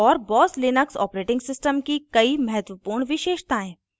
और boss Linux os की कई महत्वपूर्ण विशेषतायें